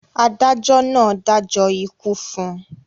adájọ náà dájọ́ ikú fún un